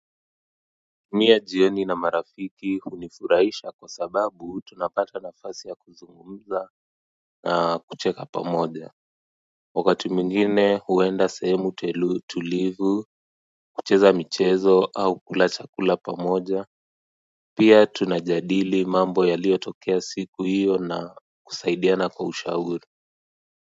Mie jioni na marafiki hunifuraisha kwa sababu tunapata nafasi ya kuzungumza na kucheka pamoja wakati mwingine huenda sehemu telu tulivu kucheza michezo au kula chakula pamoja pia tunajadili mambo yaliotokea siku hiyo na kusaidiana kwa ushauri.